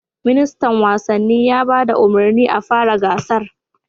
Ministan wasanni ya ba da umarnin a fara gasar